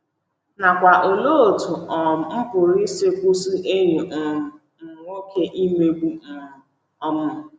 nakwa “ Olee Otú um M Pụrụ Isi Kwụsị Enyi um M Nwoke Imegbu M? um ”